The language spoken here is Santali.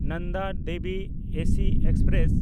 Nanda Devi AC express